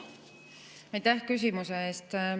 Aitäh küsimuse eest!